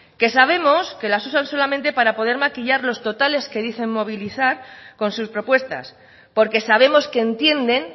que sabemos que las usan solamente para poder maquillar los totales que dicen movilizar con sus propuestas porque sabemos que entienden